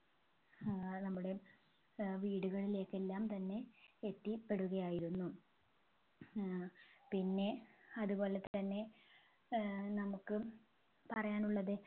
ആഹ് നമ്മുടെ ഏർ വീടുകളിലേക്ക് എല്ലാം തന്നെ എത്തിപെടുകയായിരുന്നു ഏർ പിന്നെ അതുപോലെതന്നെ ഏർ നമ്മുക്ക് പറയാനുള്ളത്